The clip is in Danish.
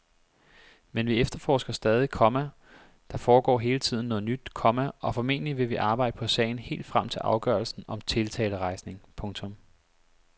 Men vi efterforsker stadig, komma der foregår hele tiden noget nyt, komma og formentlig vil vi arbejde på sagen helt frem til afgørelsen om tiltalerejsning. punktum